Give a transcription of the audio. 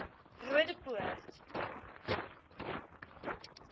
roodepoort